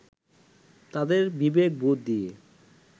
তাদের বিবেকবোধ দিয়ে